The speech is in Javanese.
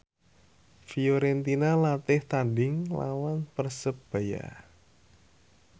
Fiorentina latih tandhing nglawan Persebaya